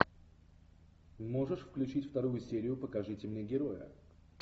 можешь включить вторую серию покажите мне героя